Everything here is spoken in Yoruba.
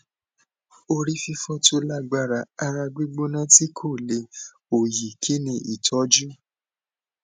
orififo tó lágbára ara gbigbona ti ko le oyi kini itoju